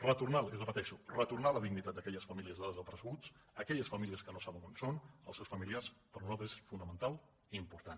retornar li ho repeteixo retornar la dignitat d’aquelles famílies de desapareguts aquelles famílies que no saben on són els seus familiars per nosaltres és fonamental i important